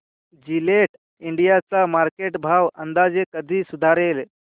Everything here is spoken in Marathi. जिलेट इंडिया चा मार्केट भाव अंदाजे कधी सुधारेल